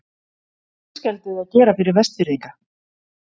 Hvað er fiskeldið að gera fyrir Vestfirðinga?